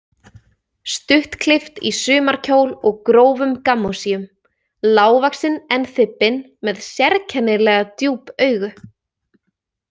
Stuttklippt í sumarkjól og grófum gammósíum, lágvaxin en þybbin, með sérkennilega djúp augu.